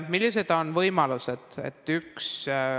Millised on võimalused?